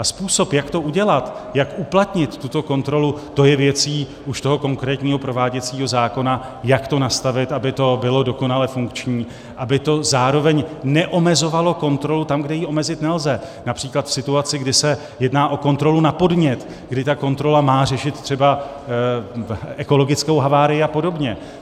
A způsob, jak to udělat, jak uplatnit tuto kontrolu, to je věcí už toho konkrétního prováděcího zákona, jak to nastavit, aby to bylo dokonale funkční, aby to zároveň neomezovalo kontrolu tam, kde ji omezit nelze - například v situaci, kdy se jedná o kontrolu na podnět, kdy ta kontrola má řešit třeba ekologickou havárii a podobně.